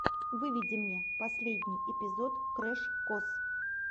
выведи мне последний эпизод крэш кос